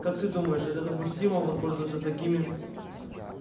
как ты думаешь это допустимо воспользоваться такими